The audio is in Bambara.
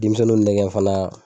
Denmisɛninw nɛgɛn fana